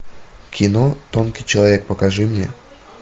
кино тонкий человек покажи мне